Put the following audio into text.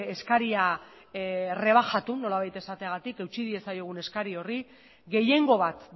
eskaria errebajatu nolabait esategatik utzi diezaiogun eskari horri gehiengo bat